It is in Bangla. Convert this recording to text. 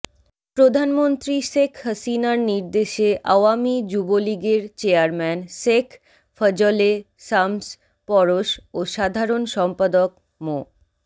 প্রধানমন্ত্রী শেখ হাসিনার নির্দেশে আওয়ামী যুবলীগের চেয়ারম্যান শেখ ফজলে শামস পরশ ও সাধারণ সম্পাদক মো